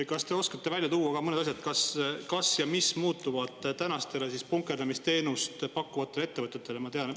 Kas te oskate välja tuua mõned asjad, kas ja mis muutub tänastele punkerdamisteenust pakkuvatele ettevõtetele?